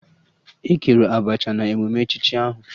E kere Abacha na emume echichi ahụ